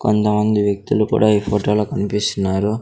కొందమంది వ్యక్తులు కూడా ఈ ఫోటోలో కనిపిస్తున్నారు.